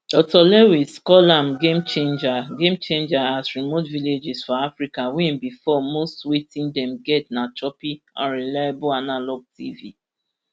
dr lewis call am gamechanger gamechanger as remote villages for africa wey bifor most wetin dem get na choppy and unreliable analogue tv